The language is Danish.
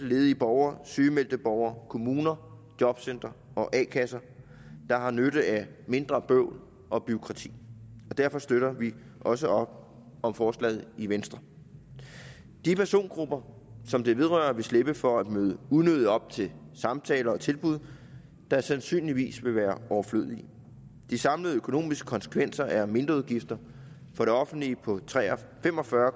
ledige borgere sygemeldte borgere kommuner jobcentre og a kasser der har nytte af mindre bøvl og bureaukrati og derfor støtter vi også op om forslaget i venstre de persongrupper som det vedrører vil slippe for at møde unødigt op til samtaler og tilbud der sandsynligvis vil være overflødige de samlede økonomiske konsekvenser er mindreudgifter for det offentlige på fem og fyrre